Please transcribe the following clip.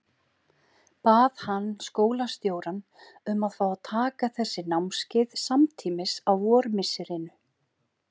Bað hann skólastjórann um að fá að taka þessi námskeið samtímis á vormisserinu.